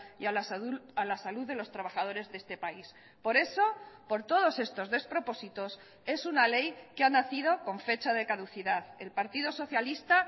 y a la salud de los trabajadores de este país por eso por todos estos despropósitos es una ley que ha nacido con fecha de caducidad el partido socialista